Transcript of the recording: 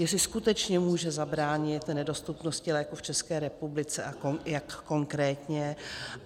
Jestli skutečně může zabránit nedostupnosti léků v České republice a jak konkrétně?